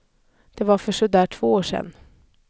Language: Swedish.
Det var för sådär två år sedan.